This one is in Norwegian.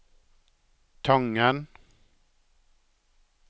Tangen